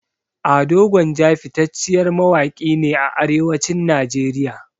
Ado gwanja fitacciyar mawaƙi ne a arewacin nigeria